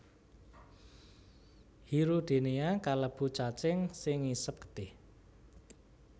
Hirudinea kalebu cacing sing ngisep getih